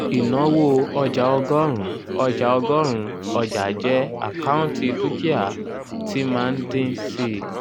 ìnáwó ọjà ọgọrun ọjà ọgọrun ọjà jẹ́ àkáùntì dúkìá tí máa ń dín síi.